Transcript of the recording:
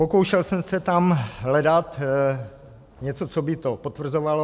Pokoušel jsem se tam hledat něco, co by to potvrzovalo.